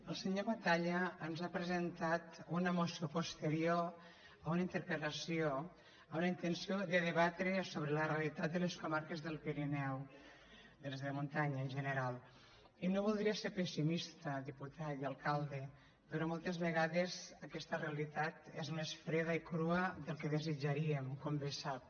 el senyor batalla ens ha presentat una moció posterior a una interpel·lació amb la intenció de debatre sobre la realitat de les comarques del pirineu de les de muntanya en general i no voldria ser pessimista diputat i alcalde però moltes vegades aquesta realitat és més freda i crua del que desitjaríem com bé sap